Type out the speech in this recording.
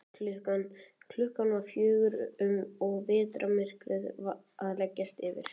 Klukkan var um fjögur og vetrarmyrkrið að leggjast yfir.